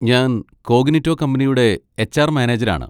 ഞാൻ കോഗ്നിറ്റോ കമ്പനിയുടെ എച്.ആർ. മാനേജരാണ്.